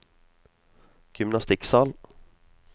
gymnastikksal